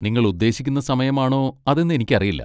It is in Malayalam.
നിങ്ങളുദ്ദേശിക്കുന്ന സമയമാണോ അതെന്ന് എനിക്കറിയില്ല.